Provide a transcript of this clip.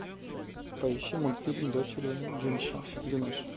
поищи мультфильм дочери гюнеш